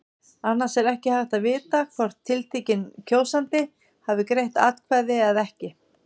Annars er ekki hægt að vita hvort tiltekinn kjósandi hafi greitt atkvæði eða ekki.